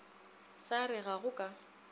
sa re ga go ka